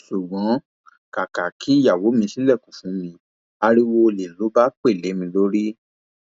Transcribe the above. ṣùgbọn kàkà kí ìyàwó mi ṣílẹkùn fún mi ariwo ọlẹ ló pa lé mi lórí